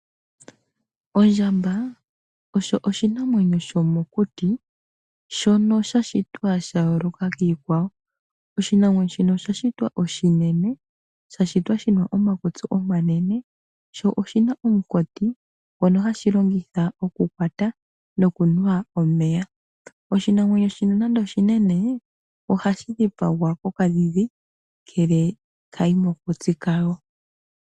Ondjamba osho oshinamwenyo shomokuti shono sha shitwa sha yooloka kiikwawo. Oshinamwenyo shino osha shitwa oshinene. Sha shitwa shi na omakutsi omanene, sho oshi na omunkati ngono hashi longitha okukwata nokunwa omeya. Oshinamwenyo shino nando oshinene ohashi dhipagwa kokadhidhi ngele ka yi mokutsi kwayo.